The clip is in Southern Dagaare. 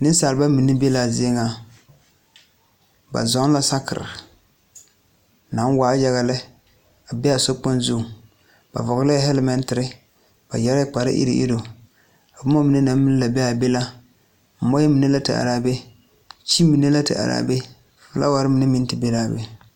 Nensalba mine be la a zie ŋa ba zɔŋ la saakere naŋ waa yaga lɛ a be a sokpoŋ zuŋ ba hɔglɛɛ hɛlemɛntere ba yɛre la kpare iruŋ iruŋ boma mine naŋ meŋ la be a be la mɔɛ mine la te are a be suu mine la te are a be filawari mine meŋ te be la a be.